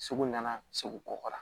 Segu ɲɛna segu kɔkɔ la